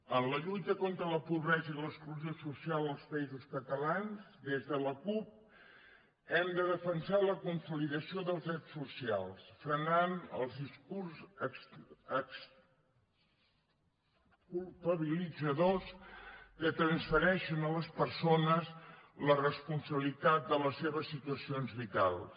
en la lluita contra la pobresa i l’exclusió social als països catalans des de la cup hem de defensar la consolidació dels drets socials i frenar els discursos exculpabilitzadors que transfereixen a les persones la responsabilitat de les seves situacions vitals